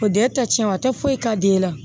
O den ta tiɲɛ a tɛ foyi k'a den na